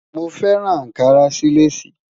Mo fẹran Ànkarà sí Lace.